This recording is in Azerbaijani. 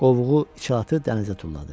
Qovuğu, içalatı dənizə tulladı.